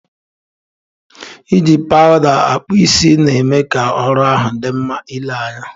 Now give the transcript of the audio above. Iji powuda akpu isii, na eme ka oru ahu di nma ile anya.